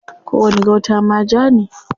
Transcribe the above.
Kowani gauta ma ja ne.